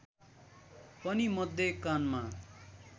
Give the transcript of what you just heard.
पनि मध्य कानमा